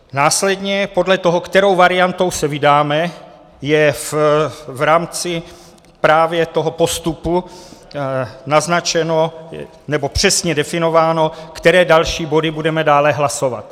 Následně podle toho, kterou variantou se vydáme, je v rámci právě toho postupu naznačeno nebo přesně definováno, které další body budeme dále hlasovat.